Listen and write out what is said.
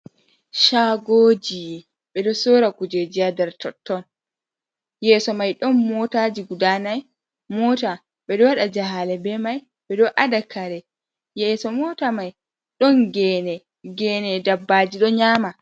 Shagoji ɓeɗo sora kujeji ha nder totton yeso mai ɗon mootaji guda nai moota ɓeɗo waɗa jahale bei mai ɓeɗo adakare yeso moota mai ɗon gene dabbaji ɗon nyama.